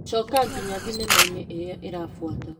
Coka nginya thinema ĩrĩa ĩrabuata .